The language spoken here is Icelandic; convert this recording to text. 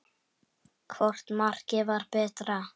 Hvort markið var betra?